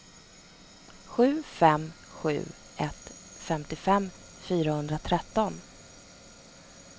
sju fem sju ett femtiofem fyrahundratretton